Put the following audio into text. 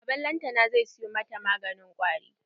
Baban lantana zai siyo mata maganin kwari.